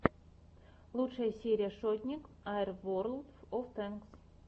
лучшая серия шотник ай ворлд оф тэнкс